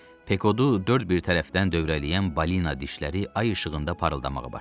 Pekodu dörd bir tərəfdən dövrələyən balina dişləri ay işığında parıldamağa başladı.